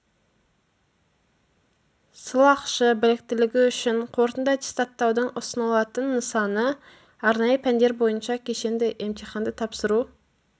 сылақшы біліктілігі үшін қорытынды аттестаттаудың ұсынылатын нысаны арнайы пәндер бойынша кешенді емтиханды тапсыру